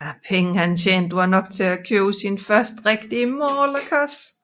Pengene han tjente var nok til at købe sin første rigtige malerkasse